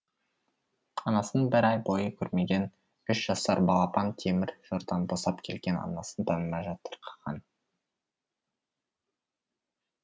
анасын бір ай бойы көрмеген үш жасар балапан темір тордан босап келген анасын танымай жатырқаған